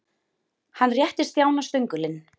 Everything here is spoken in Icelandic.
Hann rétti Stjána stöngulinn.